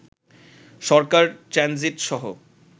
সরকার transit সহ